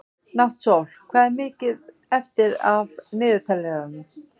Náttsól, hvað er mikið eftir af niðurteljaranum?